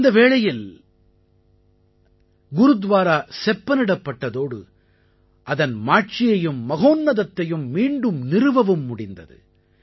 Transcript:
அந்த வேளையில் குருத்வாரா செப்பனிடப்பட்டதோடு அதன் மாட்சியையும் மகோன்னதத்தையும் மீண்டும் நிறுவவும் முடிந்தது